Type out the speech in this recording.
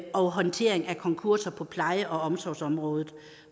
og håndtering af konkurser på pleje og omsorgsområdet